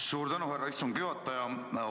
Suur tänu, härra istungi juhataja!